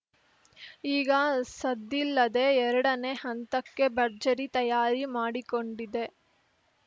ಈಗ ಸದ್ದಿಲ್ಲದೆ ಎರಡನೇ ಹಂತಕ್ಕೆ ಭರ್ಜರಿ ತಯಾರಿ ಮಾಡಿಕೊಂಡಿದೆ